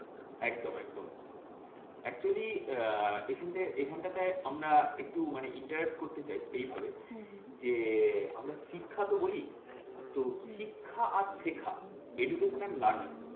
একদম একদম। actually আহ এখানটা এখানটাতে আমরা একটু মানে interact করতে চাই, এইভাবে যে আমরা শিক্ষা তো বলি, তো শিক্ষা আর শেখা education and learning